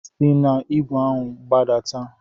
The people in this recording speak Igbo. Si n'igwe ahu gbadata!